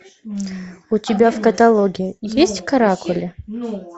у тебя в каталоге есть каракули